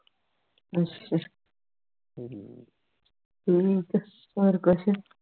ਅਸ਼ਾ ਠੀਕ ਹੈ ਹੋਰ ਕੁਸ਼